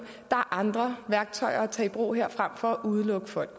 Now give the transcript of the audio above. andre værktøjer at tage i brug her frem for at udelukke folk